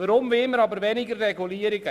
Weshalb wollen wir weniger regulieren?